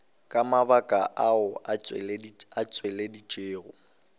ka mabaka ao a tšweleditšwego